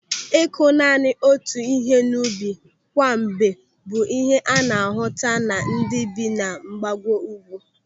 Ị́kụ́ naanị otu ihe n'ubi kwa mgbe bụ ihe a na-ahụta na ndị bi na mgbago ugwu.